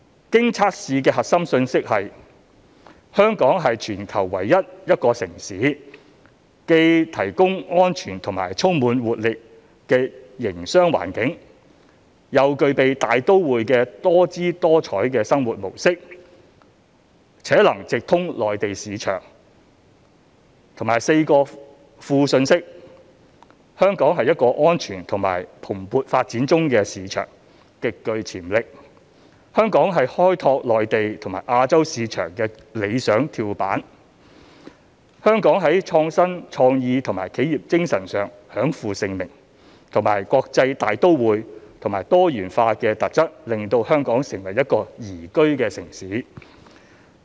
經測試的核心信息是"香港是全球唯一一個城市，既提供安全及充滿活力的營商環境、又具備大都會的多姿多采生活模式，且能直通內地市場"，以及4個副信息："香港是一個安全及蓬勃發展中的市場，極具潛力"、"香港是開拓內地及亞洲市場的理想跳板"、"香港在創新、創意及企業精神上享負盛名"及"國際大都會和多元化的特質令香港成為一個宜居城市"。